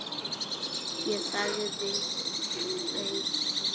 Ég þagði, beið.